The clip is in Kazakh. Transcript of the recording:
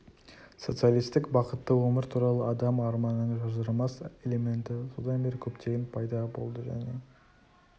социалистік бақытты өмір туралы адам арманының ажырамас элементі содан бері көптеген пайда болды және